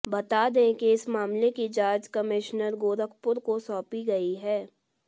बता दें कि इस मामले की जांच कमिश्नर गोरखपुर को सौंपी गई है